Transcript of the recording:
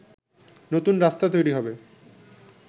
নতুন রাস্তা তৈরি হবে